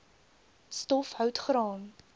stof hout graan